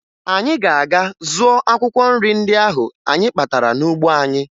Anyị ga-aga zụọ akwụkwọ nri ndị ahụ anyị kpatara n'ugbo anyị